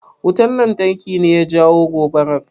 Wutan lantarki ne ya jawo gobarar?